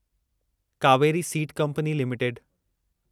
Kaveri seed company limited